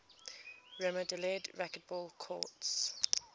remodeled racquetball courts